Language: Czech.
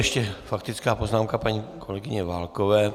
Ještě faktická poznámka paní kolegyně Válkové.